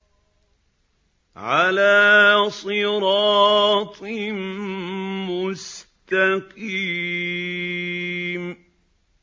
عَلَىٰ صِرَاطٍ مُّسْتَقِيمٍ